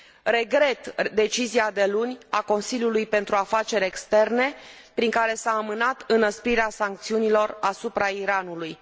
Regret decizia de luni a Consiliului pentru Afaceri Externe, prin care s a amânat înăsprirea sancțiunilor asupra Iranului.